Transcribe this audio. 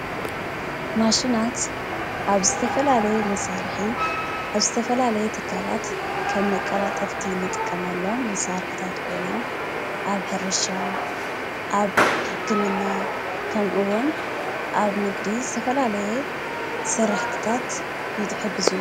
ማሽናት ኣብ ዝተፈላለየ መሳርሒ ኣብ ዝተፈላለየ ትካላት ከም መቀላጠፍቲ ንጥቀመሎም መሳርሒታት ኮይኖም ኣብ ሕርሻ፣ ኣብ ሕክምና፣ ከምኡ ዉን ኣብ ንግዲ ዝተፈላለየ ስራሕቲታት ይሕግዙ፡፡